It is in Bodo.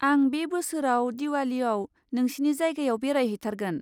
आं बे बोसोराव दिवालीयाव नोंसिनि जायगायाव बेरायहैथारगोन।